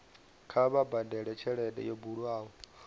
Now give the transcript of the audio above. kha vha badele tshelede yo bulwaho